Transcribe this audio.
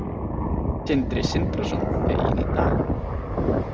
Sindri Sindrason: Fegin í dag?